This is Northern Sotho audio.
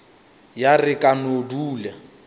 ya re ka no dula